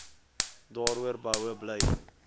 daaroor behoue bly